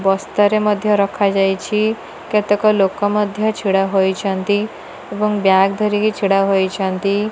ବସ୍ତାରେ ମଧ୍ୟ ରଖାଯାଇଛି କେତେକ ଲୋକ ମଧ୍ୟ ଛିଡା ହୋଇଛନ୍ତି ଏଵଂ ବ୍ୟାଗ୍ ଧରିକି ଛିଡା ହୋଇଛନ୍ତି।